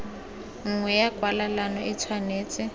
nngwe ya kwalelano e tshwanetse